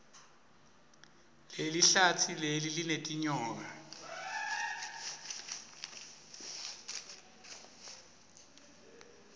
lelihlatsi leli linetinyoka